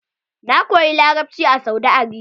Na koyi larabci a Saudi Arabia.